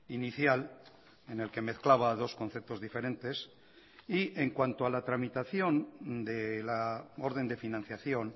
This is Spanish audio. inicial en el que mezclaba dos conceptos diferentes y en cuanto a la tramitación de la orden de financiación